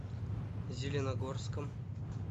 зеленогорском